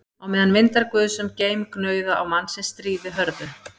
Á meðan vindar guðs um geim gnauða á mannsins stríði hörðu